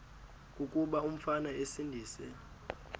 kuba umfana esindise